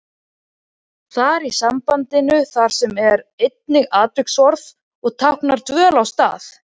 Þar í sambandinu þar sem er einnig atviksorð og táknar dvöl á stað.